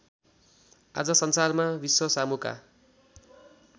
आज संसारमा विश्वसामुका